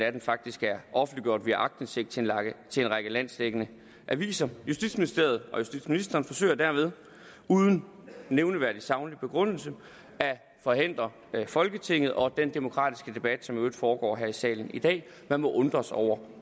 af den faktisk er offentliggjort via aktindsigt til en række landsdækkende aviser justitsministeriet og justitsministeren forsøger dermed uden nævneværdig saglig begrundelse at forhindre folketinget og den demokratiske debat som i øvrigt foregår her i salen i dag man må undres over